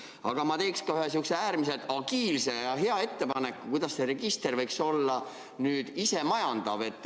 Aga ma teeks ka ühe sellise äärmiselt agiilse ja hea ettepaneku, kuidas see register võiks olla isemajandav.